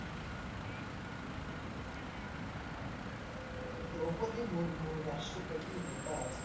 द्रौपदी मुर्मू राष्ट्रपती होतात